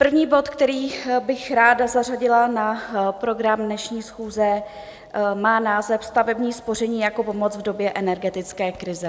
První bod, který bych ráda zařadila na program dnešní schůze, má název Stavební spoření jako pomoc v době energetické krize.